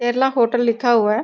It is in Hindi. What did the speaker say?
केरला होटल लिखा हुआ है ।